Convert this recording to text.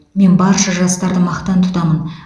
мен барша жастарды мақтан тұтамын